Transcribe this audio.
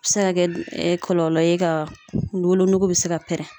A bɛ se ka kɛ kɔlɔlɔ ye ka wolonugu bɛ se ka pɛrɛn.